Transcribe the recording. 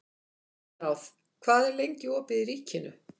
Engilráð, hvað er lengi opið í Ríkinu?